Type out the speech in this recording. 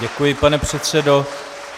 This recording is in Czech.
Děkuji, pane předsedo.